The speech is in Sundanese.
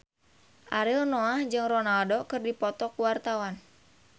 Ariel Noah jeung Ronaldo keur dipoto ku wartawan